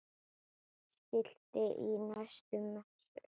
Skilti í næstu messu?